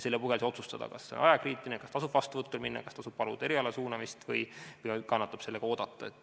Sel puhul saab siis otsustada, kas asi on ajakriitiline, kas tasub vastuvõtule minna, kas tasub paluda erialasuunamist või kannatab sellega oodata.